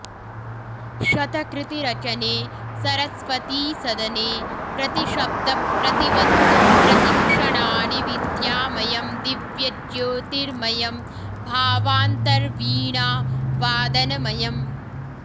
शतकृति रचने सरस्वती सदने प्रतिशब्द प्रतिवस्तु प्रतिक्षणानि विद्यामयं दिव्य ज्योतिर्मयं भावान्तर्वीणा वादनमयम्